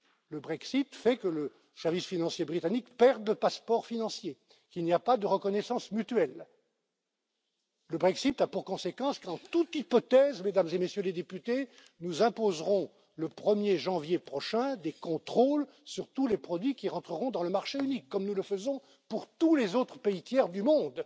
Le Brexit fait que le service financier britannique perd son passeport financier. Il n'y a pas de reconnaissance mutuelle. Le Brexit a pour conséquence qu'en toute hypothèse, Mesdames et Messieurs les députés, nous imposerons le 1er janvier prochain des contrôles sur tous les produits qui rentreront dans le marché unique, comme nous le faisons pour tous les autres pays tiers